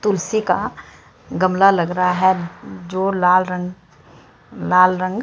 तुलसी का गमला लग रहा है जो लाल रंग लाल रंग--